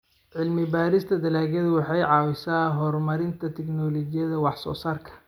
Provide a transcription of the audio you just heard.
Cilmi-baarista dalaggu waxay caawisaa horumarinta tignoolajiyada wax-soo-saarka.